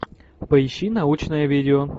поищи научное видео